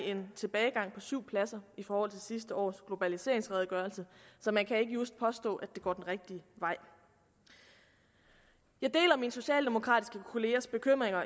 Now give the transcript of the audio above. en tilbagegang på syv pladser i forhold til sidste års globaliseringsredegørelse så man kan ikke just påstå at det går den rigtige vej jeg deler mine socialdemokratiske kollegers bekymring